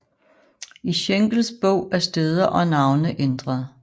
I Schenkels bog er steder og navne ændret